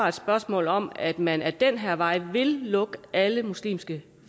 et spørgsmål om at man ad den her vej vil lukke alle muslimske